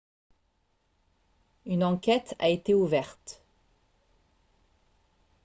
une enquête a été ouverte